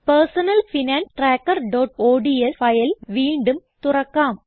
personal finance trackerഓഡ്സ് file വീണ്ടും തുറക്കാം